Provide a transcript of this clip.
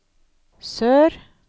sør